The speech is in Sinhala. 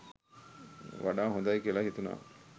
වඩා හොඳයි කියලා හිතුණා.